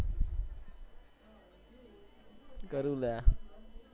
કરું અલ્યા